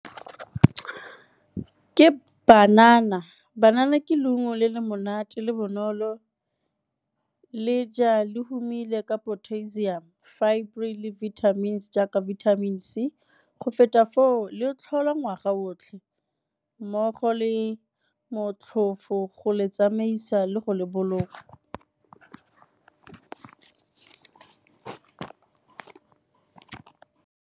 Ke banana, banana ke leungo le le monate le bonolo le ja le humile ka potassium, fibre le vitamins jaaka vitamin C, go feta foo le tlhola ngwaga botlhe mmogo le motlhofo go le tsamaisa le go le boloka.